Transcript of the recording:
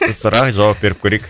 сұра жауап беріп көрейік